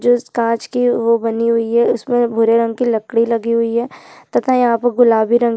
जिस कांच कि ये बनी हुई है इसमे भुरे रंग कि लकड़ी लगी हुई है तथा यहाँ पे गुलाबी रंग--